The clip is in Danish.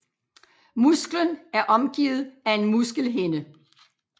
Musklen er omgivet af en muskelhinde